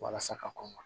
Walasa ka kɔn ka